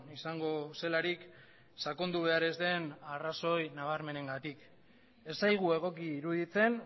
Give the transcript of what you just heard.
izango zelarik sakondu behar ez den arrazoi nabarmenengatik ez zaigu egoki iruditzen